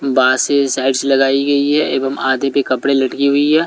बास से साइड्स लगाई गई है एवं आधे पे कपड़े लटकी हुई है।